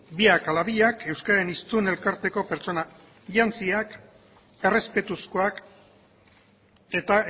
biak ala biak euskararen hiztun elkarteko pertsona jantziak errespetuzkoak eta